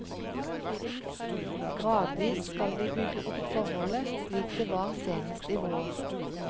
Gradvis skal vi bygge opp forholdet, slik det var senest i vår.